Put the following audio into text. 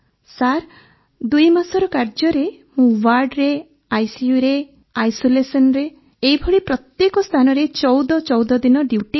sir ଦୁଇ ମାସର କାର୍ଯ୍ୟରେ ମୁଁ ୱାର୍ଡ଼ରେ ଆଇସିୟୁରେ ଆଇସୋଲେସନ୍ରେ ଏହିଭଳି ପ୍ରତ୍ୟେକ ସ୍ଥାନରେ ୧୪୧୪ ଦିନ ଡ୍ୟୁଟି କଲି